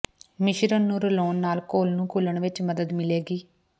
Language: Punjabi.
ਮਿਸ਼ਰਣ ਨੂੰ ਰਲਾਉਣ ਨਾਲ ਘੁਲ ਨੂੰ ਘੁਲਣ ਵਿਚ ਮਦਦ ਮਿਲੇਗੀ